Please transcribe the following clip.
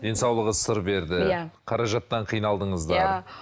денсаулығы сыр берді иә қаражаттан қиналдыңыздар иә